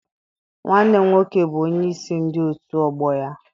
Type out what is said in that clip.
Nwanne m nwoke bụ onyeisi ndị otu ọgbọ ya.